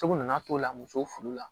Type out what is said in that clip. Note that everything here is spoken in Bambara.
Cogo na na t'o la musow furu la